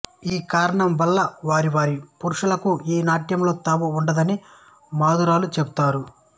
ఆ కారణం వల్ల వారి వారి పురుషులకు ఈ నాట్యంలో తావు వుండదని మదురాలు చెపుతారు